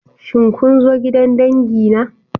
Shin kun zo gidan dangi na?